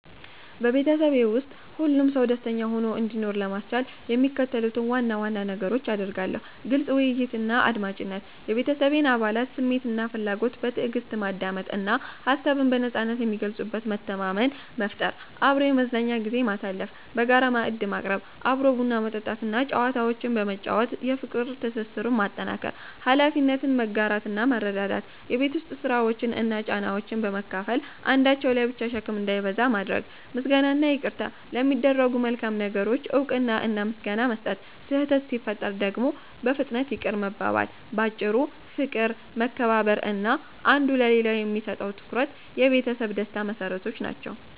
በቤተሰቤ ውስጥ ሁሉም ሰው ደስተኛ ሆኖ እንዲኖር ለማስቻል የሚከተሉትን ዋና ዋና ነገሮች አደርጋለሁ፦ ግልጽ ውይይትና አድማጭነት፦ የቤተሰቤን አባላት ስሜትና ፍላጎት በትዕግስት ማዳመጥ እና ሀሳብን በነጻነት የሚገልጹበት መተማመን መፍጠር። አብሮ የመዝናኛ ጊዜ ማሳለፍ፦ በጋራ ማዕድ መቅረብ፣ አብሮ ቡና መጠጣት እና ጨዋታዎችን በመጫወት የፍቅር ትስስሩን ማጠናከር። ኃላፊነትን መጋራትና መረዳዳት፦ የቤት ውስጥ ስራዎችን እና ጫናዎችን በመካፈል አንዳቸው ላይ ብቻ ሸክም እንዳይበዛ ማድረግ። ምስጋናና ይቅርታ፦ ለሚደረጉ መልካም ነገሮች እውቅና እና ምስጋና መስጠት፣ ስህተት ሲፈጠር ደግሞ በፍጥነት ይቅርታ መባባል። ባጭሩ፦ ፍቅር፣ መከባበር እና አንዱ ለሌላው የሚሰጠው ትኩረት የቤተሰብ ደስታ መሰረቶች ናቸው።